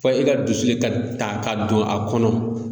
Fɔ e ka dusu ka ta ka don a kɔnɔ.